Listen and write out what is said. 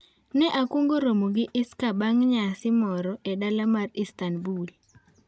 Ne akwongo romo gi Iscaa bang' nyasi moro e dala mar Istanbul.